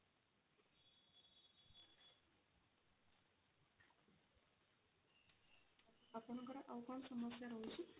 ଆପଣଙ୍କର ଆଉ କଣ ସମସ୍ୟା ରହୁଛି?